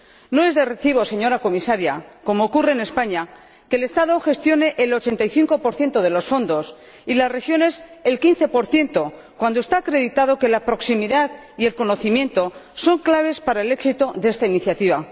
No es de recibo, señora Comisaria, que, como ocurre en España, el Estado gestione el 85 de los fondos, y las regiones, el 15 cuando está acreditado que la proximidad y el conocimiento son claves para el éxito de esta iniciativa.